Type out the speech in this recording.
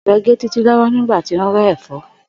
Ò̩be̩ gé Títí ló̩wó̩ nígbà tí ó ń ré̩ è̩fó̩